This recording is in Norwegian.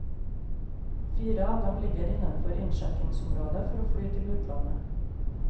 Fire av dem ligger innenfor innskjekkingsområdet for fly til utlandet.